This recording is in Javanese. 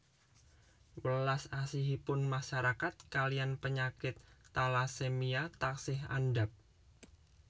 Welas asihipun masyarakat kaliyan penyakit talasemia taksih andhap